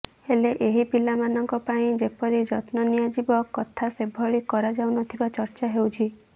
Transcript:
ହେଲେ ଏହି ପିଲାମାନଙ୍କ ପାଇଁ ଯେପରି ଯତ୍ନ ନିଆଯିବା କଥା ସେଭଳି କରାଯାଉନଥିବା ଚର୍ଚ୍ଚା ହେଉଛି